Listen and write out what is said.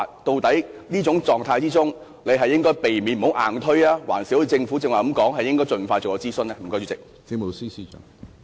在這情況下，究竟應該避免硬推方案，還是一如政府剛才所說，應該盡快進行諮詢？